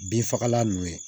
Bin fagalan ninnu ye